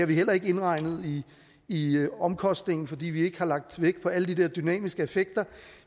vi ikke indregnet i i omkostningerne fordi vi ikke har lagt vægt på alle de der dynamiske effekter